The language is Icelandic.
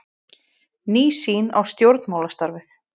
Ný sýn á stjórnmálastarfið